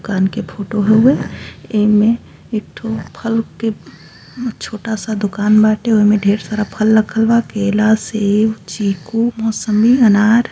दुकान के फोटो हउए। एमे एक ठो फल के छोटा सा दुकान बाटे। ओमें ढेर सारा फल रखल बा। केला सेब चीकू मौसम्मी अनार।